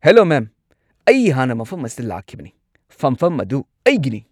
Hello ma'am, ꯑꯩ ꯍꯥꯟꯅ ꯃꯐꯝ ꯑꯁꯤꯗ ꯂꯥꯛꯈꯤꯕꯅꯤ꯫ ꯐꯝꯐꯝ ꯑꯗꯨ ꯑꯩꯒꯤꯅꯤ꯫